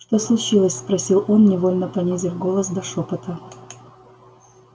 что случилось спросил он невольно понизив голос до шёпота